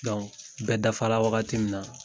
bɛ dafara wagati min na